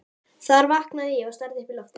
Þar vaknaði ég og starði upp í loftið.